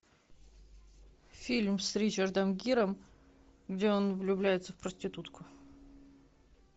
фильм с ричардом гиром где он влюбляется в проститутку